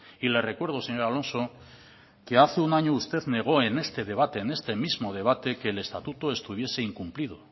y le recuerdo señor alonso que hace un año usted negó en este debate en este mismo debate que el estatuto estuviese incumplido